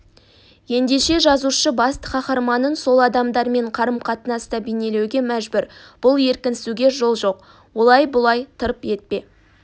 еңдеше жазушы басты қаһарманын сол адамдармен қарым-қатынаста бейнелеуге мәжбүр бұл еркінсуге жол жоқ олай-бұлай тырп ете